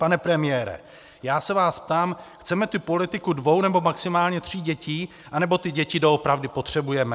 Pane premiére, já se vás ptám: chceme tu politiku dvou nebo maximálně tří dětí, anebo ty děti doopravdy potřebujeme?